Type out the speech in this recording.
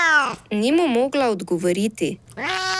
Ni mu mogla odgovoriti.